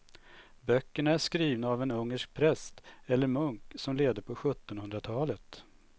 Böckerna är skrivna av en ungersk präst eller munk som levde på sjuttonhundratalet.